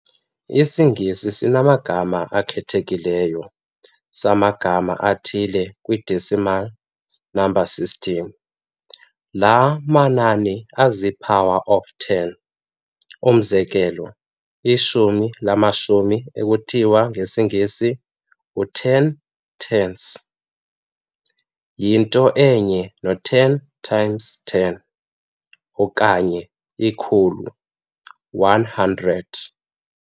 IsiNgesi sinamagama akhethekileyo samagama athile kwi-decimal number system, laa manani azii-"powers of ten". Umzekelo, ishumi lamashumi ekuthiwa ngesiNgesi u-ten tens, yinto enye no-ten times ten, okanye ikhulu, one hundred.